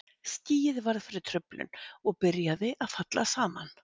Skýið varð fyrir truflun og byrjaði að falla saman.